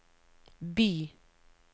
by